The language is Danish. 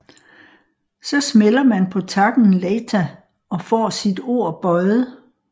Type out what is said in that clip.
Så smælder man på takken Leita og får sit ord bøjet